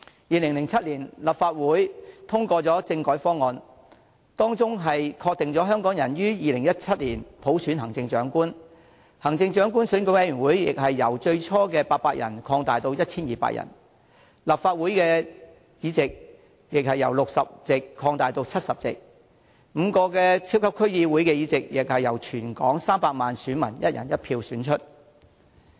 2007年立法會通過的政改方案，當中確定香港可於2017年普選行政長官，行政長官選舉委員會亦由最初的800人擴大至 1,200 人，立法會議席由60席擴大至70席 ，5 個超級區議會議席亦由全港300萬選民以"一人一票"選出。